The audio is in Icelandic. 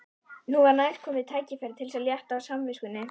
Nú var kærkomið tækifæri til þess að létta á samviskunni.